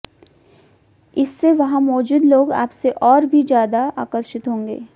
इससे वहां मौजूद लोग आपसे और भी ज् यादा आकर्षित होंगे